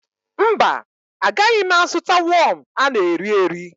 Mba, agaghị m azụta wọm a na-erieri